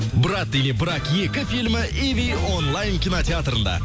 брат или брак екі фильмі иви онлайн кинотеатрында